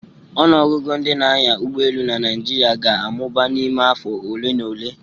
Ọnụ ọgụgụ ndị na-anya ụgbọ elu na Naijiria ga-amụba n'ime afọ ole na ole